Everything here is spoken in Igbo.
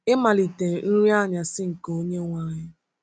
Ịmalite Nri Anyasị nke Onyenwe anyị.